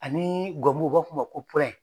Ani u b'a fɔ o ma ko